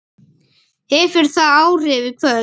Hefur það áhrif í kvöld?